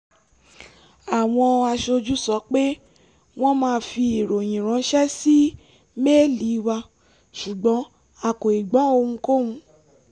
àwọn aṣojú sọ pé wọ́n máa fi ìròyìn ránṣẹ́ sí méèlì wa ṣùgbọ́n a kò ì gbọ́ ohunkóhun